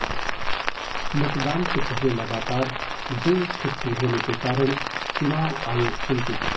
मतदान से पहले लगातार दो छुट्टी होने के कारण चुनाव आयोग चिंतित